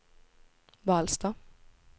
Vallsta